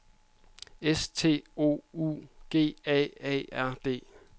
S T O U G A A R D